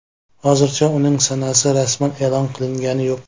Hozircha uning sanasi rasman e’lon qilingani yo‘q.